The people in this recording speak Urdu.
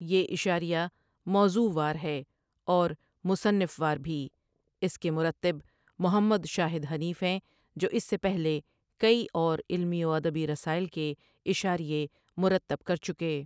یہ اشاریہ موضوع وار ہے اور مصنف وار بھی اس کے مرتب محمد شاہد حنیف ہیں جو اس سے پہلے کئی اور علمی و ادبی رسائل کے اشاریے مرتب کرچکے۔